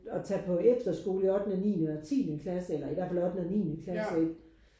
At tage på efterskole i ottende niende og tiende klasse eller i hvert fald ottende og niende klasse ikke